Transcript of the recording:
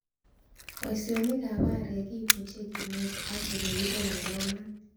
Boisionik ab aarek kibuche kinet ak ele kiboundoo maat.